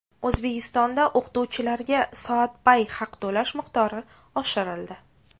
O‘zbekistonda o‘qituvchilarga soatbay haq to‘lash miqdori oshirildi.